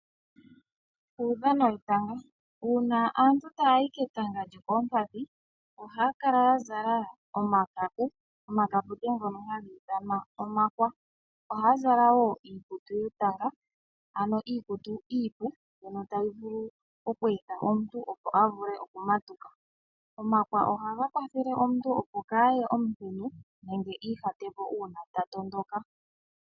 Uudhano wetanga. Uuna aantu taya yi ketanga lyokoompadhi ohaya kala ya zala omakaku, omakapute ngono haga ithwanwa omakwa. Ohaya zala wo iikutu yetanga, ano iikutu iipu mbyono tayi vulu oku etha omuntu, opo a vule okumatuka. Omakwa ohaga kwathele omuntu opo kaa ye omuthenu nenge i ihate po uuna ta tondoka.